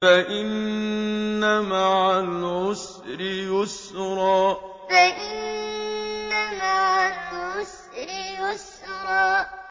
فَإِنَّ مَعَ الْعُسْرِ يُسْرًا فَإِنَّ مَعَ الْعُسْرِ يُسْرًا